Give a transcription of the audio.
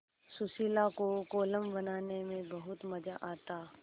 सुशीला को कोलम बनाने में बहुत मज़ा आता